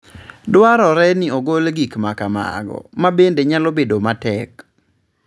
Dwarore ni ogol gik ma kamago, ma bende nyalo bedo matek.